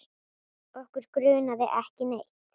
Okkur grunaði ekki neitt.